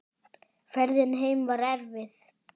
Ferðin heim var erfið.